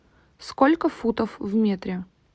сколько футов в метре